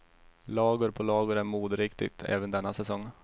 Lager på lager är moderiktigt även denna säsong.